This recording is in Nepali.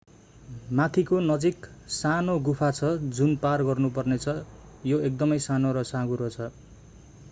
माथिको नजिक सानो गुफा छ जुन पार गर्नुपर्नेछ यो एकदमै सानो र साँघुरो छ